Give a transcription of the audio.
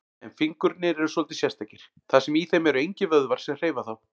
En fingurnir eru svolítið sérstakir, þar sem í þeim eru engir vöðvar sem hreyfa þá.